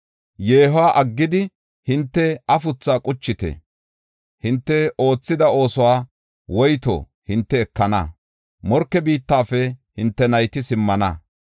“Yeehuwa aggidi, hinte afuthaa quchite. Hinte oothida oosuwas woyto hinte ekana; morke biittafe hinte nayti simmana.